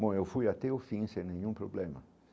Bom, eu fui até o fim sem nenhum problema.